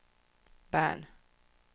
Bern